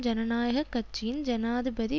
ஜனநாயக கட்சியின் ஜனாதிபதி